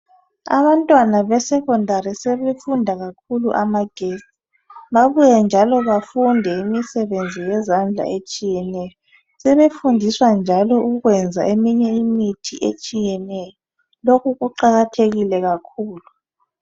Abantwana abesekhondari sebenzisa kakhulu babuye njalo bafunde imisebenzi yezandla etshiyeneyo sebefindiswa njalo ukuyenza imithi yesintu etshiyeneyo lokhu kuqakathekile kakhulu